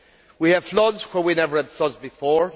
We have floods where we never had floods before.